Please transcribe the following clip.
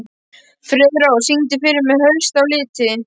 Friðrós, syngdu fyrir mig „Haustið á liti“.